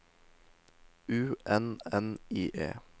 U N N I E